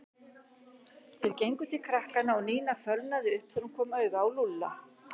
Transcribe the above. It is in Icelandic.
Þeir gengu til krakkanna og Nína fölnaði upp þegar hún kom auga á Lúlla.